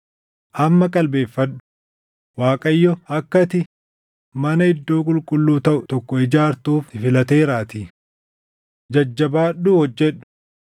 Amma qalbeeffadhu; Waaqayyo akka ati mana iddoo qulqulluu taʼu tokko ijaartuuf si filateeraatii. Jajjabaadhuu hojjedhu.”